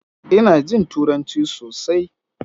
Ina jin Turanci sosai.